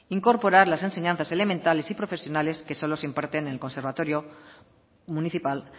incorporar las enseñanzas elementales y profesionales que solo se imparten en el conservatorio municipal